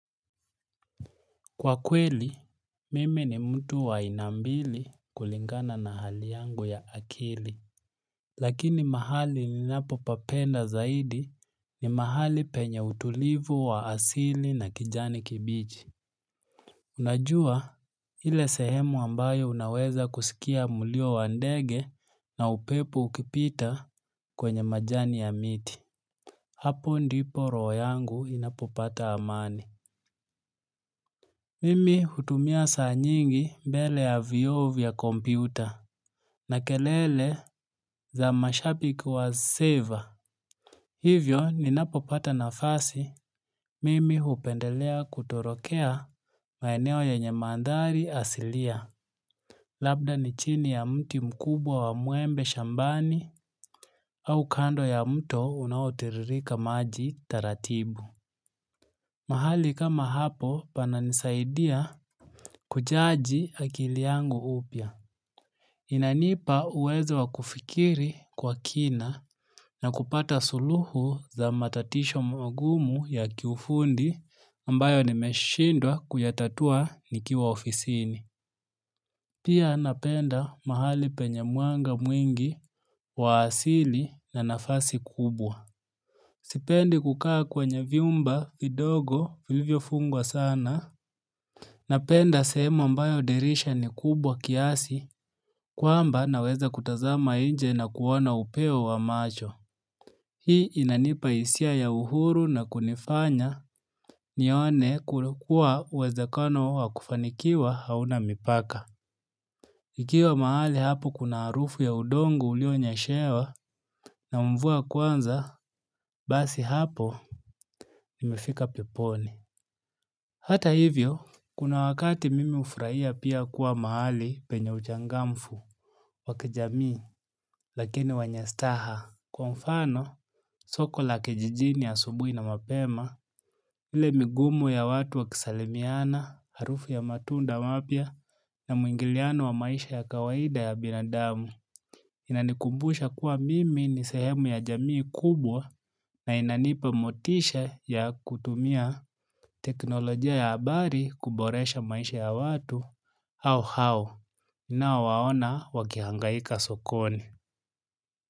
Kwa kweli, mimi ni mtu wa aina mbili kulingana na hali yangu ya akili. Lakini mahali ninapo papenda zaidi ni mahali penye utulivu wa asili na kijani kibichi. Unajua ile sehemu ambayo unaweza kusikia mulio wa ndege na upepo ukipita kwenye majani ya miti. Hapo ndipo roho yangu inapopata amani. Mimi hutumia saa nyingi mbele ya vyoo vya kompyuta na kelele za mashabiki wa seva. Hivyo ninapopata nafasi mimi hupendelea kutorokea maeneo yenye maandhari asilia. Labda ni chini ya mti mkubwa wa mwembe shambani au kando ya mto unaotiririka maji taratibu. Mahali kama hapo pananisaidia kuchaji akili yangu upya. Inanipa uwezo wa kufikiri kwa kina na kupata suluhu za matatizo magumu ya kiufundi ambayo nimeshindwa kuyatatua nikiwa ofisini. Pia napenda mahali penye mwanga mwingi wa asili na nafasi kubwa. Sipendi kukaa kwenye vyumba vidogo vilivyo fungwa sana. Napenda sehemu mbayo dirisha ni kubwa kiasi kwamba naweza kutazama inje na kuona upeo wa macho. Hii inanipa hisia ya uhuru na kunifanya nione kuwa uwezakano wa kufanikiwa hauna mipaka. Ikiwa mahali hapo kuna harufu ya udongo ulionyeshewa na mvua kwanza basi hapo imefika peponi. Hata hivyo, kuna wakati mimi hufurahia pia kuwa mahali penye uchangamfu, wa kijamii, lakini wanye staha. Kwa mfano, soko la kijijini asubuhi na mapema, ile migumu ya watu wa kisalimiana, harufu ya matunda mapya na mwingiliano wa maisha ya kawaida ya binadamu. Inanikumbusha kuwa mimi ni sehemu ya jamii kubwa na inanipa motisha ya kutumia teknolojia ya habari kuboresha maisha ya watu au hao nao waona wakihangaika sokoni.